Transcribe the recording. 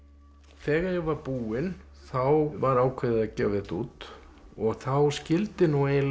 þegar ég var búinn þá var ákveðið að gefa þetta út og þá skyldi nú eiginlega